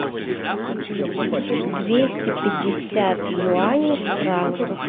двести пятьдесят юаней в франках